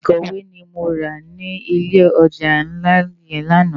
Ikòwé ni mó rá ni ilé òjá nlá yèn làná